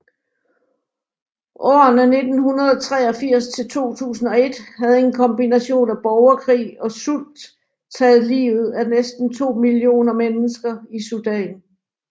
Årene 1983 til 2001 havde en kombination af borgerkrig og sult taget livet af næsten 2 millioner mennesker i Sudan